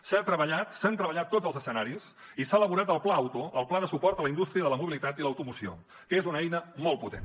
s’han treballat tots els escenaris i s’ha elaborat el pla auto el pla de suport a la indústria de la mobilitat i l’automoció que és una eina molt potent